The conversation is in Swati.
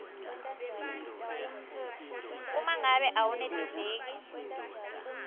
uma ngabe awenetiseki